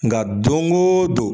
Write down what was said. Nga don go don